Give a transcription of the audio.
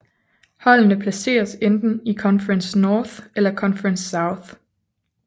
Holdene placeres i enten Conference North eller Conference South